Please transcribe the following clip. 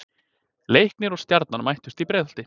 Leiknir og Stjarnan mættust í Breiðholti.